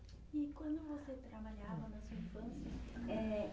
E quando você trabalhava na sua infância, eh...